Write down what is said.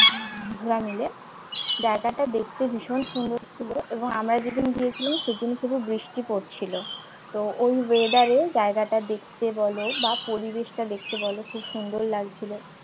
বন্ধুরা মিলে জায়গাটা দেখতে ভীষণ সুন্দর ছিল এবং আমরা যেদিন গিয়েছিলাম সেদিন শুধু বৃষ্টি পড়ছিল তো ওই weather জায়গাটা দেখতে বল বা পরিবেশটা দেখতে বল খুব সুন্দর লাগছিল